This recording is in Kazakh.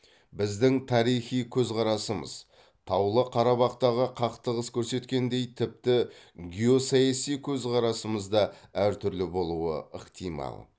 біздің тарихи көзқарасымыз таулы қарабақтағы қақтығыс көрсеткендей тіпті геосаяси көзқарасымыз да әртүрлі болуы ықтимал